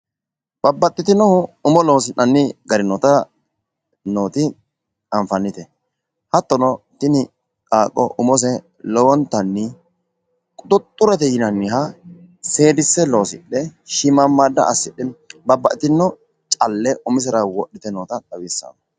babbaxxitino umo loosi'nanni gari nooti anfannite hattono tini qaaqqo umose lowontanni quxuuxxurete yinanniha seedisse loosidhe shiimmaammaada assidhe babbaxxitino calle umisera wodhite noota xawisanno